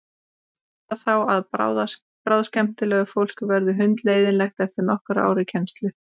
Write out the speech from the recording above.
Eða þá að bráðskemmtilegt fólk verður hundleiðinlegt eftir nokkur ár í kennslu.